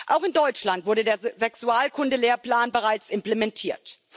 Auch in Deutschland wurde der Sexualkundelehrplan bereits implementiert.